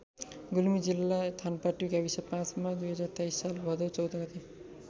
गुल्मी जिल्ला थानपाटी गाविस५ मा २०२३ साल भदौ १४ गते।